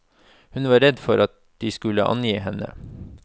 Hun var redd for at de skulle angi henne.